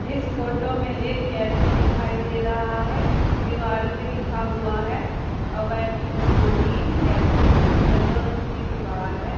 इस फोटो में एक कॅफे दिखाई दे रहा हैं दीवार पे लिखा हुआ हैं एवेन्यू फोर्टीन कॅफे यलो रंग की दीवार हैं।